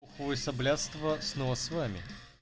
улица блядства снова с вами